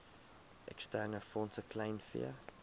eksterne fondse kleinvee